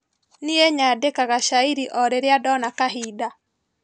Nie nyandikaga cairi o rĩrĩa ndona kahinda.